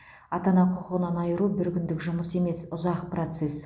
ата ана құқығынан айыру бір күндік жұмыс емес ұзақ процесс